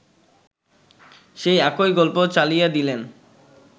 সেই একই গল্প চালাইয়াদিলেন